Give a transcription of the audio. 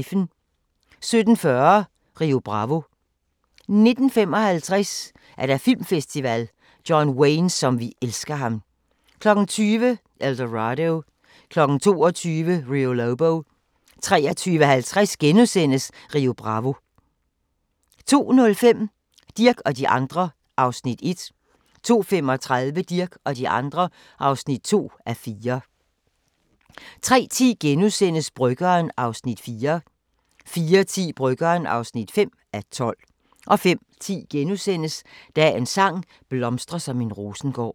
17:40: Rio Bravo 19:55: Filmfestival: John Wayne som vi elsker ham 20:00: El Dorado 22:00: Rio Lobo 23:50: Rio Bravo * 02:05: Dirch og de andre (1:4) 02:35: Dirch og de andre (2:4) 03:10: Bryggeren (4:12)* 04:10: Bryggeren (5:12) 05:10: Dagens sang: Blomstre som en rosengård *